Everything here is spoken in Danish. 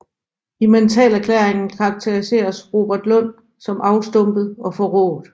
I mentalerklæringen karakteriseres Robert Lund som afstumpet og forrået